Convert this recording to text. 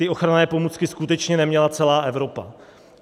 Ty ochranné pomůcky skutečně neměla celá Evropa.